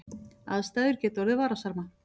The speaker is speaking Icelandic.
Aðstæður geta orðið varasamar